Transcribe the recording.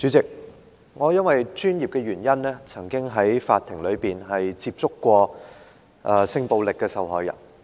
主席，我因為本身的專業，曾經在法庭內接觸性暴力受害人。